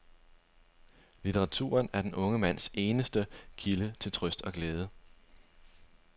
Litteraturen er den unge mands eneste kilde til trøst og glæde.